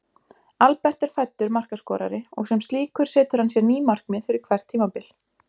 Albert er fæddur markaskorari og sem slíkur setur hann sér ný markmið fyrir hvert tímabil.